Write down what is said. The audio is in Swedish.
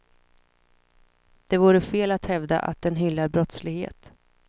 Det vore fel att hävda att den hyllar brottslighet.